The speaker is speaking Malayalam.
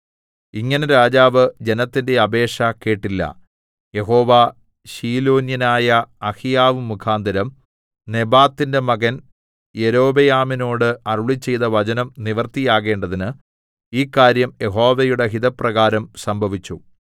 ഇങ്ങനെ രാജാവ് ജനത്തിന്റെ അപേക്ഷ കേട്ടില്ല യഹോവ ശീലോന്യനായ അഹിയാവ് മുഖാന്തരം നെബാത്തിന്റെ മകൻ യൊരോബെയാമിനോട് അരുളിച്ചെയ്ത വചനം നിവൃത്തിയാകേണ്ടതിന് ഈ കാര്യം യഹോവയുടെ ഹിതപ്രകാരം സംഭവിച്ചു